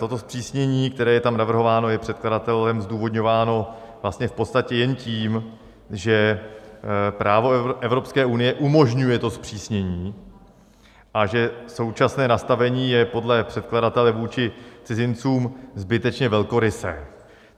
Toto zpřísnění, které je tam navrhováno, je předkladatelem zdůvodňováno vlastně v podstatě jen tím, že právo Evropské unie umožňuje to zpřísnění a že současné nastavení je podle předkladatele vůči cizincům zbytečně velkorysé.